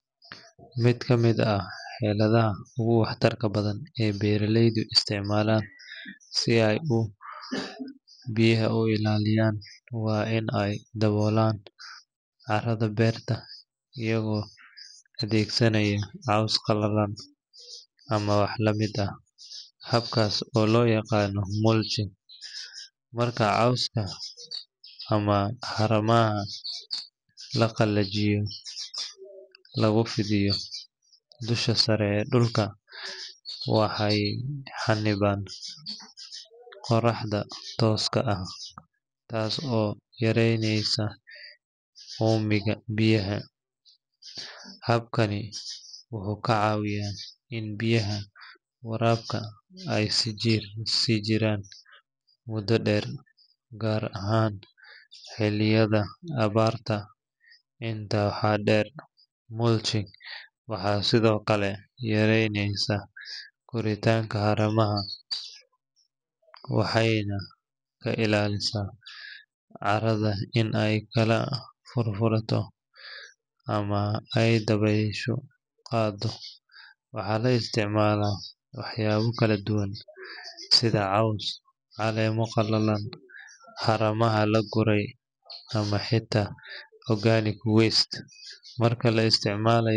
Mid kamid ah cirfada ogu waxtarka badan ee beraleyda isticmalan si ay geedaha oguilaliyan , wa in ay dawolan carada berta iyago adegsanaya ama wah lamid ah, habkas oo loyagano mulching marka cowska ama haramaha lagalajiye lagufidiyo, dusha sare ee dulka, waxay haiban qoraxda toska ah, taas oo kacawineysa umiga biyaha, habkani wuxu kacawiya in biyaha warabka ay sijiraan muda deer, gaar ahan hiliyada abarta inta waxa deer mulching waxa Sidhokale yareyneysaa koritanka ama waxayna kailalisa carada in ay kala furfurato, ama ay daweshu gadato, waxa laisticmala waxyabo kaladuwan sida cowska calema qalalan, harama kaguray ama hita organic waste marka laisticmalayo.